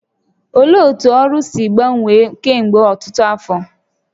Olee otú Oru si gbanwee kemgbe ọtụtụ afọ?